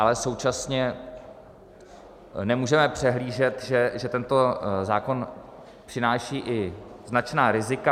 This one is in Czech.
Ale současně nemůžeme přehlížet, že tento zákon přináší i značná rizika.